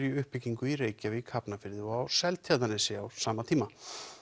í uppbyggingu í Reykjavík Hafnarfirði og á Seltjarnarnesi frá sama tíma